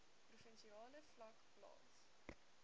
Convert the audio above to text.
provinsiale vlak plaas